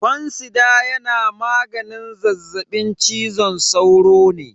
Fansida yana maganin zazzaɓin cizon sauro ne.